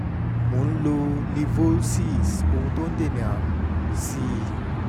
mo ń lo livolsis ohun tí ó ń dènà àrùn sí i